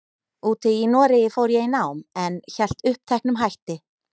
úti í Noregi fór ég í nám, en hélt uppteknum hætti.